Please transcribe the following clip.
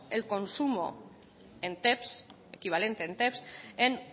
el consumo en equivalente en en